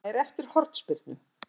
Það er eftir hornspyrnu.